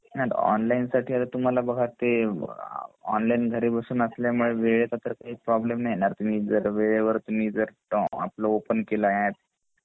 हम्म नाय ऑनलाइन साठी बघा तुम्हाला तर ते ऑनलाइन घरी बसून असल्यामुळे वेळेचा तर काही प्रॉब्लेम नही येणार जर तुम्ही ववेळेवर जर तुम्ही ओपेन केला एप्प